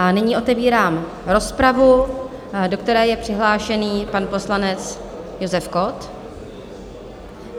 A nyní otevírám rozpravu, do které je přihlášený pan poslanec Josef Kott.